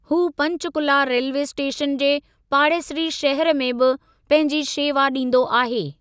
हू Panchkula railway station जे पाड़ेसरी शहर में बि पंहिंजी शेवा ॾींदो आहे।